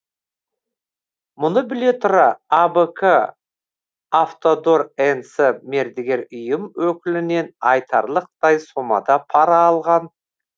мұны біле тұра абк автодор нс мердігер ұйым өкілінен айтарлықтай сомада пара алған